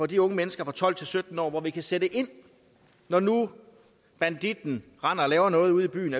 de unge mennesker fra tolv til sytten år hvor vi kan sætte ind når nu banditten render og laver noget ude i byen